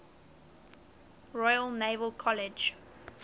royal naval college